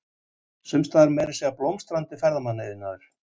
Sumstaðar er meira að segja blómstrandi ferðamannaiðnaður.